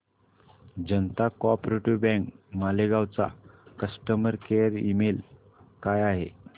जनता co op bank Malegaon चा customer care email काय आहे